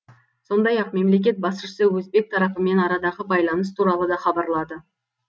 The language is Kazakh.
сондай ақ мемлекет басшысы өзбек тарапымен арадағы байланыс туралы да хабарлады